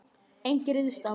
Enginn ryðst á mig.